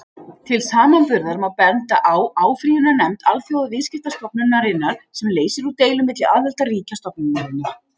Til samanburðar má benda á áfrýjunarnefnd Alþjóðaviðskiptastofnunarinnar, sem leysir úr deilum milli aðildarríkja stofnunarinnar.